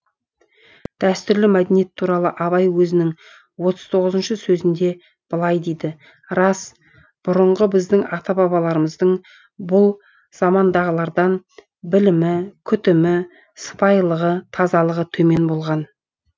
дәстүрлі мәдениет туралы абай өзінің отыз тоғызыншы сөзінде былай дейді рас бұрынғы біздің ата бабаларымыздың бұл замандағылардан білімі күтімі сыпайылығы тазалығы төмен болған